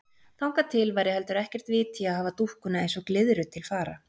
Þangað til væri heldur ekkert vit í að hafa dúkkuna eins og glyðru til fara.